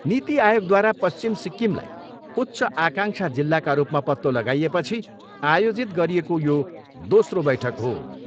नीति आयोगद्वारा पश्चिम सिक्किमलाई उच्च आङ्काक्षा जिल्लाका रूपमा पत्तो लगाइएपछि आयोजित गरिएको यो दोस्रो बैठक हो।